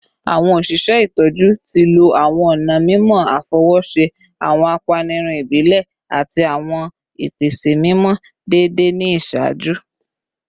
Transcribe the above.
Awọn oṣiṣẹ itọju ti lo awọn ọna mimọ afọwọṣe, awọn apanirun ibile, ati awọn ipese mimọ deede ni iṣaaju